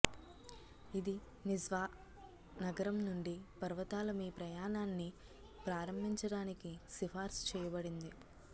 ఇది నిజ్వా నగరం నుండి పర్వతాల మీ ప్రయాణాన్ని ప్రారంభించడానికి సిఫార్సు చేయబడింది